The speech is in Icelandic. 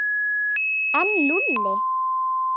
En Lúlli?